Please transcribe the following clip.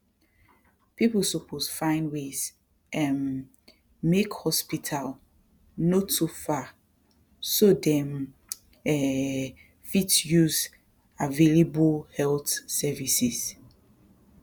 people suppose find ways um make hospital no too far so dem um fit use available health services